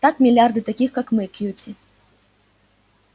так миллиарды таких как мы кьюти